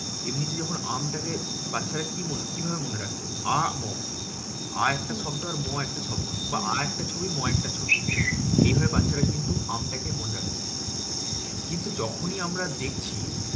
এমনিতে যখন আমটাকে বাচ্চারা কি মনে কি ভাবে মনে রাখছে? আ ম আ একটা শব্দ আর ম একটা শব্দ বা আ একটা ছবি ম একটা ছবি। এইভাবে বাচ্চারা কিন্তু আমটাকে মনে রাখছে। কিন্তু যখনি আমরা দেখছি